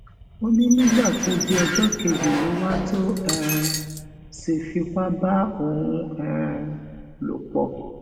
ó ní nígbà tó di ọjọ kejì ló wà tó um sì fipá bá òun um lò pọ